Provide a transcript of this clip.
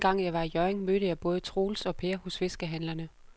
Anden gang jeg var i Hjørring, mødte jeg både Troels og Per hos fiskehandlerne.